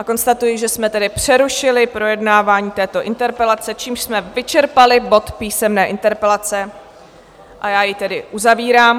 A konstatuji, že jsme tedy přerušili projednávání této interpelace, čímž jsme vyčerpali bod Písemné interpelace, a já jej tedy uzavírám.